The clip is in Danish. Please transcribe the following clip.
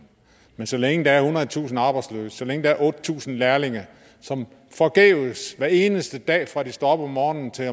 men så længe der er ethundredetusind arbejdsløse så længe der er otte tusind lærlinge som forgæves hver eneste dag fra de står op om morgenen og til